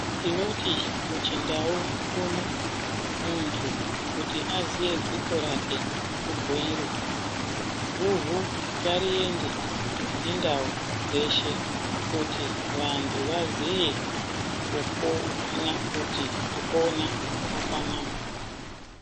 Tinoti muchindau muno muntu kuti aziye dziko rake kubhuirwa. Guhu ngariende nendau dzeshe kuti vantu vaziye kupona kuti kupona kwakanaka.